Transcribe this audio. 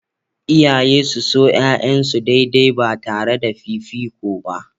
Iyaye su so 'ya'yansu daidai ba tare da fifiko ba.